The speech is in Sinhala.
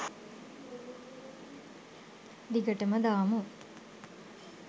දිගටම දාමු.